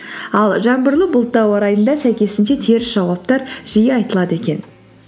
ал жаңбырлы бұлтты ауа райында сәйкесінше теріс жауаптар жиі айтылады екен